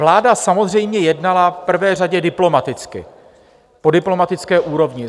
Vláda samozřejmě jednala v prvé řadě diplomaticky, po diplomatické úrovni.